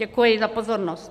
Děkuji za pozornost.